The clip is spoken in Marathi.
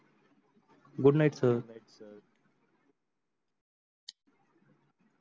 good night sir